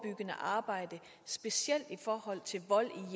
skidt